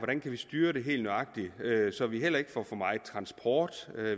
kan styre det helt nøjagtigt så vi heller ikke får for meget transport